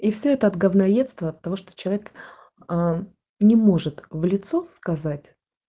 и все это от гавноедства детство от того что человек э не может в лицо сказать